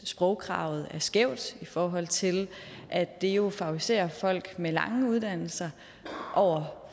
sprogkravet er skævt i forhold til at det jo favoriserer folk med lange uddannelser over